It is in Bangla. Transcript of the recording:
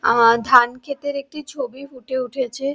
আ- ধানক্ষেতের একটি ছবি ফুটে উঠেছে--